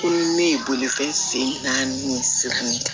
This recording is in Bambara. Ko ne ye bolifɛn sen naani siran